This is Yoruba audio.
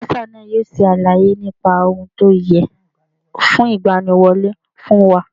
Bọ́sà náà yóò ṣe àlàyé nípa ohun tí ó yẹ fún ìgbaniwọlẹ́ fún wa.